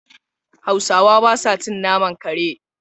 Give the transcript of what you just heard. Hausawa ba sa cin naman kare.